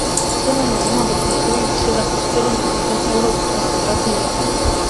Cena najema bo po njegovih besedah med sedem in osem evrov na kvadratni meter.